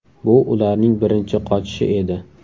Bu ularning birinchi qochishi edi.